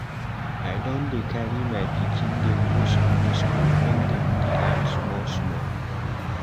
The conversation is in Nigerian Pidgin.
I don dey carry my pikin dem go Sunday skool make dem dey learn small small.